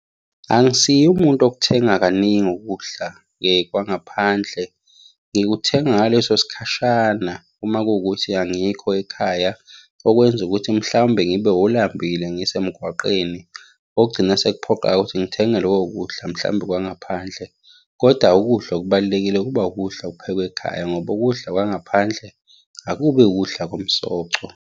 Angisiye umuntu okuthenga kaningi ukudla kwangaphandle. Ngikuthenga ngaleso sikhashana uma kuwukuthi angikho ekhaya, okwenza ukuthi mhlawumbe ngibe wolambile ngisemgwaqeni. Okugcina sekuphoqa-ke ukuthi ngithenge loko kudla mhlawumbe kwangaphandle, kodwa ukudla okubalulekile kuba ukudla okuphekwe ekhaya, ngoba ukudla kwangaphandle akubi ukudla komsoco.